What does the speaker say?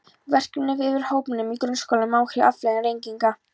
Verkefni fyrir hópvinnu í grunnskólum um áhrif og afleiðingar reykinga.